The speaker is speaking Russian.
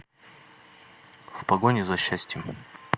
в погоне за счастьем